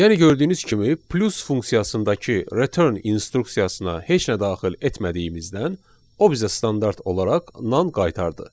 Yəni gördüyünüz kimi plus funksiyasındakı return instruksiyasına heç nə daxil etmədiyimizdən o bizə standart olaraq nan qaytardı.